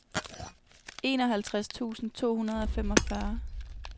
enoghalvtreds tusind to hundrede og femogfyrre